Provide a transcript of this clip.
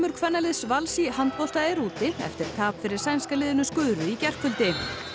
kvennaliðs Vals í handbolta er úti eftir tap fyrir sænska liðinu í gærkvöldi